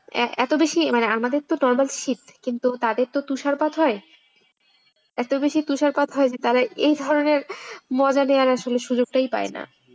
এত বেশি মানে আমাদের তো শীত কিন্তু তাদের তো তুষারপাত হয় এত বেশি তুষারপাত হয় যে তারা এই ধরনের মজা নেওয়ার আসলে সুযোগটাই পায় না।